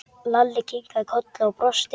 Lalli kinkaði kolli og brosti.